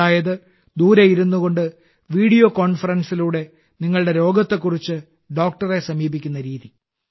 അതായത് ദൂരെ ഇരുന്നുകൊണ്ട് വീഡിയോ കോൺഫറൻസിലൂടെ നിങ്ങളുടെ രോഗത്തെക്കുറിച്ച് ഡോക്ടറെ സമീപിക്കുന്ന രീതി